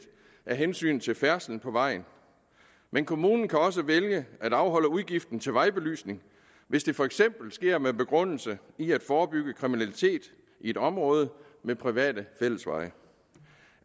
af hensyn til færdslen på vejen men kommunen kan også vælge at afholde udgiften til vejbelysning hvis det for eksempel sker med begrundelse i at forebygge kriminalitet i et område med private fællesveje